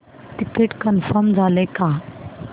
ticket confirm झाले का